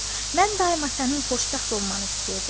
Mən daima sənin xoşbəxt olmanı istəyirdim.